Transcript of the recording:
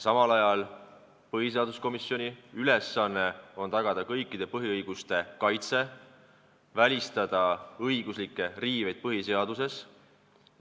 Samal ajal on põhiseaduskomisjoni ülesanne tagada kõikide põhiõiguste kaitse ja välistada põhiseaduse riiveid.